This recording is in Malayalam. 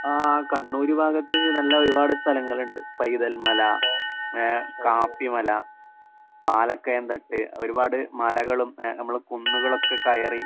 ആഹ് കണ്ണൂര് ഭാഗത്ത് നല്ല ഒരുപാട് സ്ഥലങ്ങള്ണ്ട്. പൈതൽമല, ഏഹ് കാപ്പിമല, പാലക്കയം തട്ട് ഒരുപാട് മലകളും ഏഹ് നമ്മള് കുന്നുകളൊക്കെ കയറി